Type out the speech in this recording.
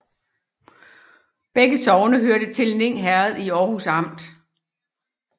Begge sogne hørte til Ning Herred i Aarhus Amt